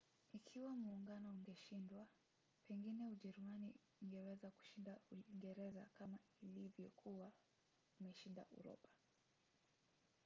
ikiwa muungano ungeshindwa pengine ujerumani ingeweza kushinda uingereza kama vile ilivyokuwa imeshinda uropa